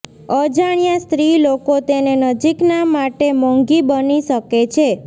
અજાણ્યા સ્ત્રી લોકો તેને નજીકના માટે મોંઘી બની શકે છે